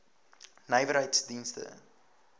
nywerheiddienste